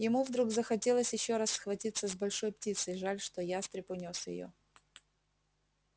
ему вдруг захотелось ещё раз схватиться с большой птицей жаль что ястреб унёс её